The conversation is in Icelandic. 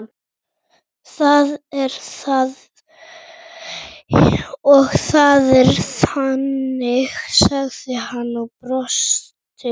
Það er það og það er þannig sagði hann og brosti.